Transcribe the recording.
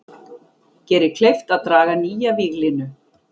Gerir kleift að draga nýja víglínu